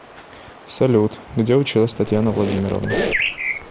салют где училась татьяна владимировна